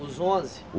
Os onze?